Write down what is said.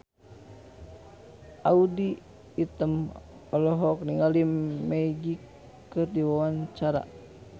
Audy Item olohok ningali Magic keur diwawancara